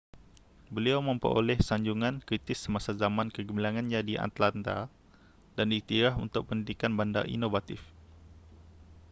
beliau memperoleh sanjungan kritis semasa zaman kegemilangannya di atlanta dan diiktiraf untuk pendidikan bandar inovatif